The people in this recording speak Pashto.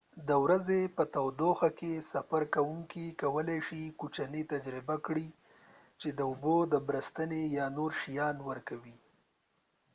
د ورځې په تودوخه کې، سفر کوونکې کولی شي کوچني تجربه کړي چې د اوبو بد بریښي یا نور شیان ورکوي۔